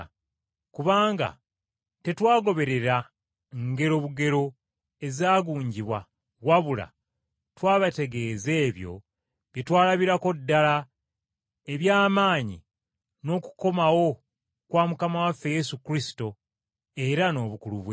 Kubanga tetwagoberera ngero bugero ezaagunjibwa wabula twabategeeza ebyo bye twalabirako ddala, eby’amaanyi n’okukomawo kwa Mukama waffe Yesu Kristo, era n’obukulu bwe.